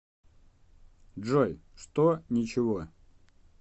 джой что ничего